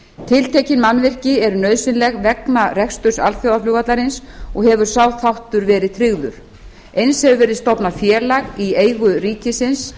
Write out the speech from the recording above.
tiltekin mannvirki eru nauðsynleg vegna reksturs alþjóðaflugvallarins og hefur sá þáttur verið tryggður eins hefur verið stofnað félag í eigu ríkisins